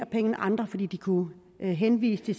penge end andre fordi de kunne henvise til